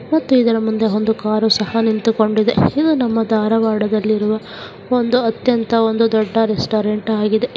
ಮತ್ತು ಇದರ ಮುಂದೆ ಒಂದು ಕಾರು ಸಹ ನಿಂತುಕೊಂಡಿದೆ ಇದು ನಮ್ಮ ಧಾರವಾಡದಲ್ಲಿರುವ ಒಂದು ಅತ್ಯಂತ ಒಂದು ದೊಡ್ಡ ರೆಸ್ಟೋರೆಂಟ್ ಆಗಿದೆ.